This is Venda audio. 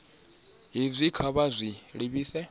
hezwi kha vha zwi livhise